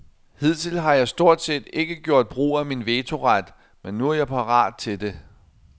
Hidtil har jeg stort set ikke gjort brug af min vetoret, men nu er jeg parat til det.